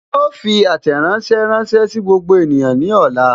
Wọn ó fi àtẹ̀ránsẹ́ sí gbogbo ènìyàn ní ọ̀la